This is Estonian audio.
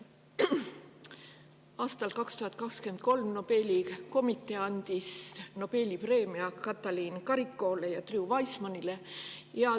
Aastal 2023 andis Nobeli komitee Nobeli preemia Katalin Karikóle ja Drew Weissmanile.